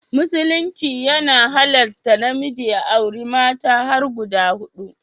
Musulunci ya halatta namiji ya auri mata har guda hudu